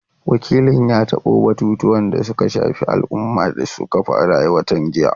Wakilin ya tabo batutuwan da suka shafi al’umma da suka faru a watan jiya.